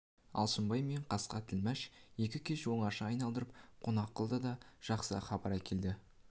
алшынбай мен қасқа тілмәш екі кеш оңаша айналдырып қонақ қылды да жақсы хабар әкелді